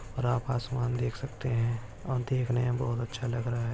और आप आसमान देख सकते है और देखने बहुत अच्छा लग रहा है।